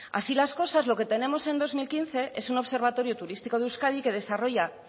así las cosas lo que tenemos en dos mil quince es un observatorio turístico de euskadi que desarrolla